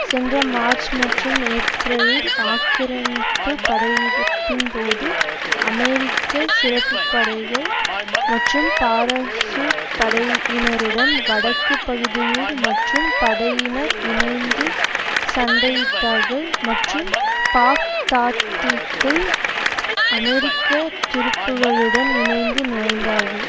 சென்ற மார்ச் மற்றும் ஏப்ரலில் ஆக்கிரமிப்பு படையெடுப்பின்போது அமெரிக்க சிறப்புப்படைகள் மற்றும் பாராசூட் படையினருடன் வடக்கு பகுதியில் மற்றும் படையினர் இணைந்து சண்டையிட்டார்கள் மற்றும் பாக்தாத்திற்குள் அமெரிக்க துருப்புக்களுடன் இணைந்து நுழைந்தார்கள்